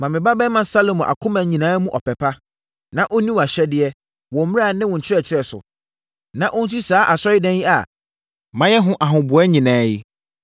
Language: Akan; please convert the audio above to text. Ma me babarima Salomo akoma nyinaa mu ɔpɛ pa, na ɔnni wʼahyɛdeɛ, wo mmara ne wo nkyerɛkyerɛ so, na ɔnsi saa Asɔredan yi a mayɛ ho ahoboa nyinaa yi.”